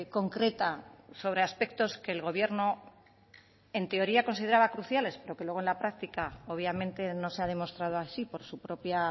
concreta sobre aspectos que el gobierno en teoría consideraba cruciales pero que luego en la práctica obviamente no se ha demostrado así por su propia